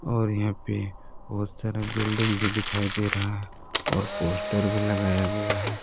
और यहां पे बहुत सारा बिल्डिंग भी दिखाई दे रहा है और पोस्टर भी लगाया गया है।